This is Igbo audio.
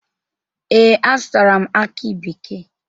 Ee, azụtara m akị bekee.